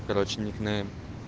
короче ник нейм